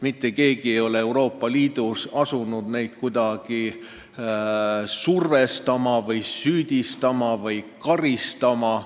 Mitte keegi ei ole hakanud neid Euroopa Liidus kuidagi survestama või süüdistama või karistama.